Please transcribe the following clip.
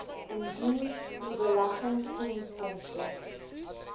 indien u beleggingsinkomste